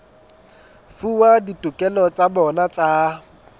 fuwa ditokelo tsa bona tsa